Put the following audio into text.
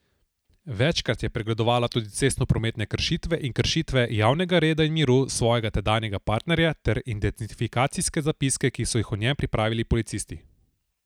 Večkrat je pregledovala tudi cestnoprometne kršitve in kršitve javnega reda in miru svojega tedanjega partnerja ter identifikacijske zapiske, ki so jih o njem pripravili policisti.